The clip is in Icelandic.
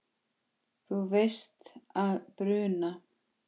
Þú veist að bruna